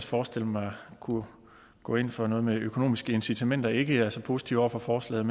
forestiller mig kunne gå ind for noget med økonomiske incitamenter ikke er så positive over for forslaget